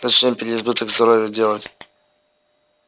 зачем переизбыток здоровья делать